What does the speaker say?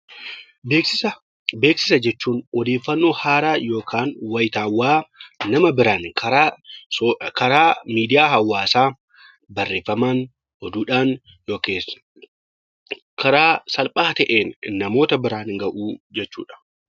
Beeksisa jechuun odeeffannoo haaraa wayitawaa nama biraatiin karaa miidiyaa hawaasaa barreeffamaan, oduudhaan yookiis karaa salphaa ta'een namoota biraan gahuu jechuudha.